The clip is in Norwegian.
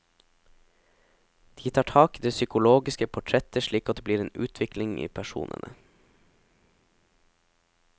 De tar tak i det psykologiske portrettet slik at det blir en utvikling i personene.